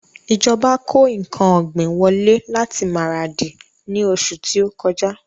Ìjọba kó ǹkan ọ̀gbìn wọlé láti Maradi ni oṣù ti o kọjá